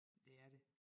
Det er det